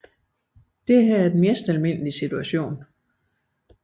Dette er den mest almindelige situation